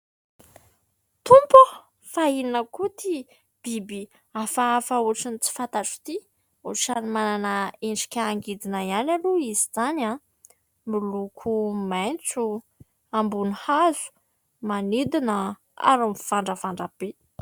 Tompo ô ! Fa inona koa ity biby hafahafa ohatran'ny tsy fantatro ity ? Ohatran'ny manana endrika angidina ihany aloha izy izany, miloko maitso, ambony hazo, manidina ary mivandravandra be.